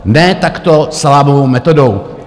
Ne takto salámovou metodou.